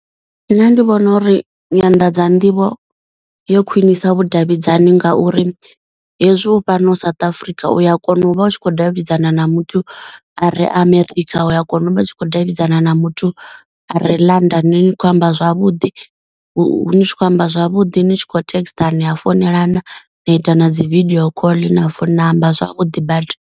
Nṋe ndi vhona uri nyanḓadza nḓivho yo khwinisa vhudavhidzani nga uri hezwi u fhano South Africa uya kona u vha u tshi khou davhidzana na muthu are america. Uya kona u vha u tshi khou davhidzana na muthu are London ni kho amba zwavhuḓi. Hu ni tshi khou amba zwavhuḓi ni tshi kho text nia founelana na ita na dzi video call na founu na amba zwavhuḓi badi.